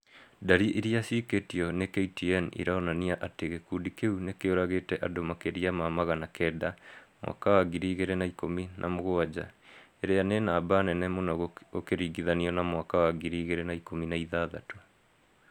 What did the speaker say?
Ndari irĩa ciĩkĩtwo nĩ KTN ironania atĩ gĩkundi kĩu nĩkĩũragĩte andũ makĩria ma magana kenda mwaka wa ngiri igĩrĩ na ikũmi na mũgwanja , irĩa nĩ namba nene mũno gũkĩringithanio na mwaka wa ngiri igĩrĩ na ikũmi na ithathatũ